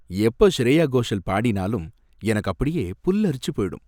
எப்ப ஷ்ரேயா கோஷல் பாடினாலும் எனக்கு அப்படியே புல்லரிச்சுப் போயிடும்.